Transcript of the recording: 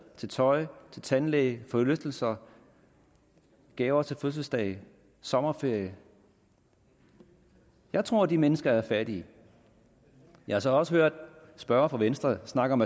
tøj tandlæge forlystelser gaver til fødselsdage sommerferie jeg tror at de mennesker er fattige jeg har så også hørt spørgere fra venstre snakke om